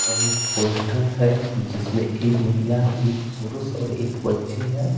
और एक पोस्टर है जिसमें एक महिला एक पुरुष और एक बच्चे हैं।